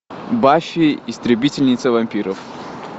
баффи истребительница вампиров